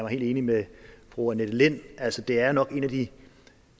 helt enig med fru annette lind altså det er nok en af de